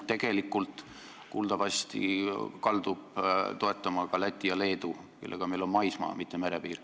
Seda kuuldavasti kalduvad toetama ka Läti ja Leedu, kellega meil on maismaa-, mitte merepiir.